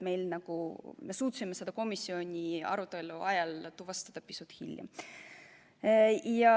Lihtsalt me suutsime selle komisjoni arutelu ajal tuvastada pisut hiljem.